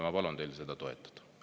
Ma palun teil seda toetada.